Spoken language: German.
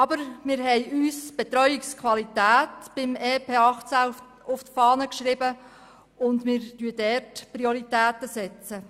Aber, wir haben uns beim EP 2018 die Betreuungsqualität auf die Fahne geschrieben und unsere Prioritäten dort gesetzt.